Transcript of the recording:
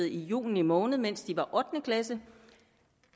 i juni måned mens de var ottende klasse